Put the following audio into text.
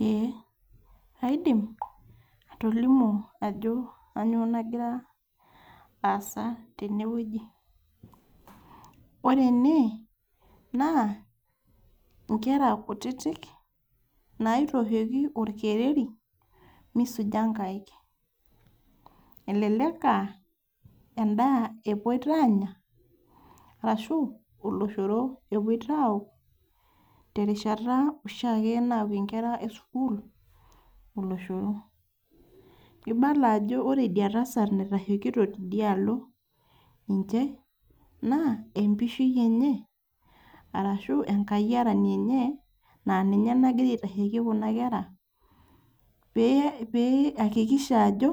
Ee kaidim atolimu ajo kainyioo nagira aasa tenewueji , ore ene naa nkera kutitik naitooshoki orkereri misuja nkaek elelek aa endaa epuo aanya ashu oloshoro epoito aaok terishata oshiake naokie nkera esukuul oloshoro, ibala ajo ore enda tasat naitashekito tidia alo ninche naa empishi enye arashu enkayiarani enye aa ninye nagira aitasheiki kuna kerra pee iakikisha ajo